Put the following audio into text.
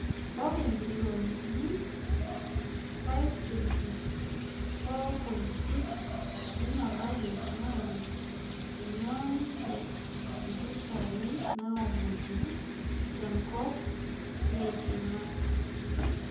ore bilionini 524.6 eina bajet naa keing'uaa ninje mpisai naomonuni tenkop eiking'a